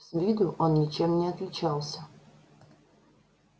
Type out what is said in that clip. с виду он ничем не отличался